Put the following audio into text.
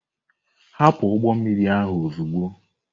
Hapụ ụgbọ mmiri ahụ ozugbo!